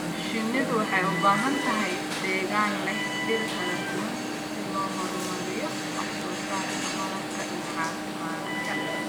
Shinnidu waxay u baahan tahay deegaan leh dhir kala duwan si loo horumariyo wax soo saarka malabka iyo caafimaadka.